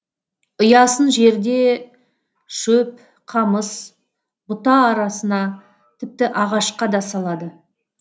ұясын жерде шөп қамыс бұта арасына тіпті ағашқа да салады